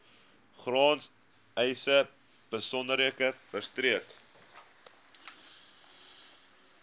grondeise besonderhede verstrek